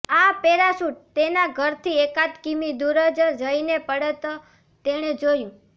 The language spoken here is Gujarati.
આ પેરાશૂટ તેના ઘરથી એકાદ કિમી દૂર જ જઈને પડત તેણે જોયું